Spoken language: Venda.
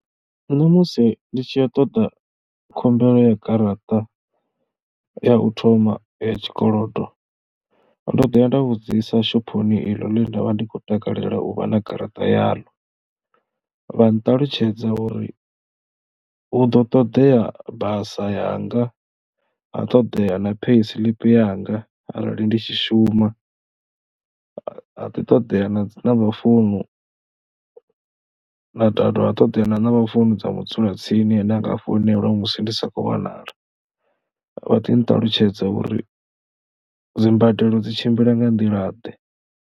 Nṋe musi ndi tshi ya u ṱoḓa khumbelo ya garaṱa ya u thoma ya tshikolodo ndo ḓo ya nda vhudzisa shophoni iḽo ḽa nda vha ndi kho takalela u vha na garaṱa yaḽo, vha nṱalutshedza uri hu ḓo toḓea basa yanga ha ṱoḓea na pay slip yanga arali ndi tshi shuma. Ha ḓi ṱoḓea na dzi namba founu na ha dovha ha ṱoḓea na namba founu dza mudzulatsini ane a nga foinelwa musi ndi si khou wanala. Vha ḓi nṱalutshedza uri dzi mbadelo dzi tshimbila nga nḓilaḓe.